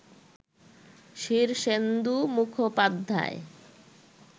Shirshendu Mukhopadhyay